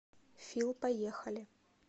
фил поехали